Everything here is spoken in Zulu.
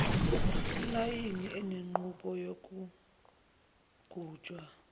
imayini enenqubo yokugujwa